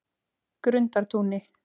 Grundartúni